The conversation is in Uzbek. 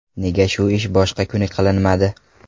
Nega shu ish boshqa kuni qilinmadi?